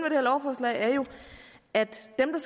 her lovforslag er jo at dem